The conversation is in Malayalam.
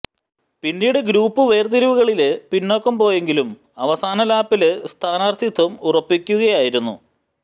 പിന്നീട് ഗ്രൂപ്പ് വേര്തിരിവുകളില് പിന്നാക്കം പോയെങ്കിലും അവസാന ലാപ്പില് സ്ഥാനാര്ഥിത്വം ഉറപ്പിക്കുകയായിരുന്നു